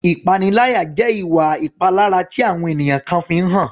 Ìpaniláyà jẹ́ ìwà ìpalára tí àwọn ènìyàn kan fi ń hàn.